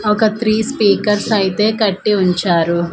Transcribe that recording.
ఒక three speakers అయితే కట్టి ఉంచారు.